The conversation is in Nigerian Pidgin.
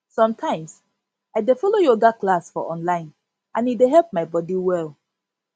sometimes i dey follow yoga class for online and e dey help my body well